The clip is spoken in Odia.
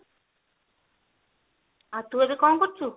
ଆଉ ତୁ ଏବେ କଣ କରୁଚୁ